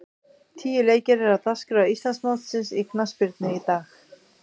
Tíu leikir eru á dagskrá Íslandsmótsins í knattspyrnu í dag.